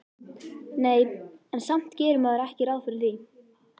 Nei, en samt gerir maður ekki ráð fyrir því